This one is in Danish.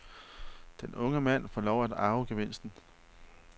Denne unge mand får lov at arve gevinsten.